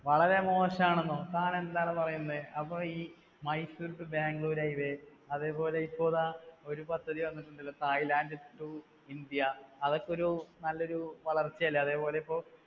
വളരെ മോശണെന്നോ. താൻ എന്താടോ പറയുന്നേ. അപ്പോ ഈ Mysore to Bangalore highway, അതേപോലെ ഇപ്പൊതാ ഒരു പദ്ധതി വന്നിട്ടുണ്ടല്ലോ Thailand to India അതൊക്കെ ഒരു നല്ലൊരു വളർച്ച അല്ലേ, അതേപോലെ ഇപ്പോ